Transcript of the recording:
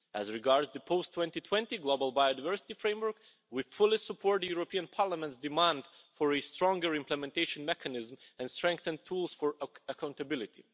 As regards the post 2020 global biodiversity framework, we fully support the European Parliament's demand for a stronger implementation mechanism and strengthen tools for accountability.